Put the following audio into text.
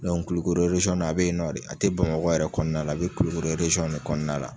Kulikoro na a bɛ yen nɔ a tɛ Bamakɔ yɛrɛ kɔnɔna la, a bɛ Kulikoror de kɔnɔna la.